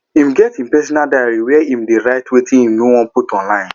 im get im personal diary where im dey write wetin im nor wan put online